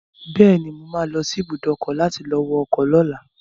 Bẹ́ẹ̀ni, mo ma lọ sí ibùdó ọkọ̀ láti lọ wọ ọkọ̀ lọ́la